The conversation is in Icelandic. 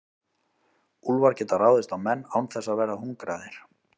Úlfar geta ráðist á menn án þess að vera hungraðir.